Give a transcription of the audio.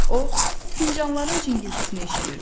O fincanların cingiltisini eşidirdi.